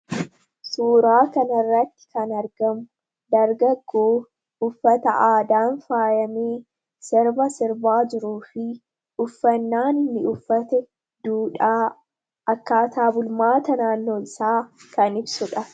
Suuraa kana irratti kan argamu dargaggoo uffata aadaan faayamee sirba sirbaa jiruu fi uffannaa inni uffate duudhaa akkaataa bulmaata naannoo isaa kan ibsudha